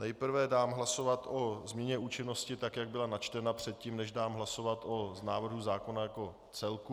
Nejprve dám hlasovat o změně účinnosti tak, jak byla načtena, předtím, než dám hlasovat o návrhu zákona jako celku.